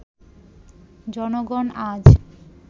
জনগণ আজ